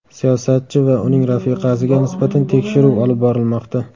Siyosatchi va uning rafiqasiga nisbatan tekshiruv olib borilmoqda.